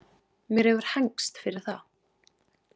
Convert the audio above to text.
Mér hefur hegnst fyrir það.